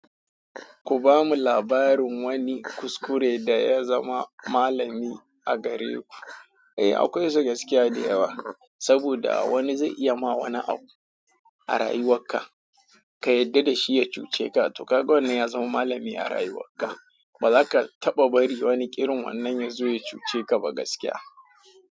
Ku ba mu labarin wani kuskure da ya zama malami a gare ku. Eh, akwai su gaskiya da yawa. Saboda wani zai iya ma wani abu a rayuwarka, ka yadda da shi ya cuce ka. To, kaga wannan ya zama malami a rayuwarka. Ba za ka taɓa bari wani ƙirin wannan yazo ya cuce ka ba gaskiya.